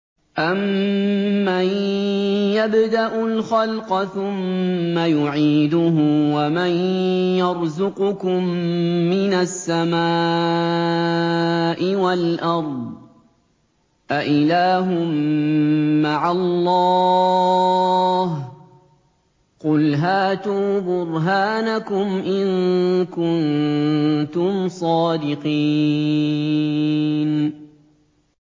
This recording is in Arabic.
أَمَّن يَبْدَأُ الْخَلْقَ ثُمَّ يُعِيدُهُ وَمَن يَرْزُقُكُم مِّنَ السَّمَاءِ وَالْأَرْضِ ۗ أَإِلَٰهٌ مَّعَ اللَّهِ ۚ قُلْ هَاتُوا بُرْهَانَكُمْ إِن كُنتُمْ صَادِقِينَ